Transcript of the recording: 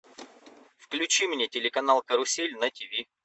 включи мне телеканал карусель на тв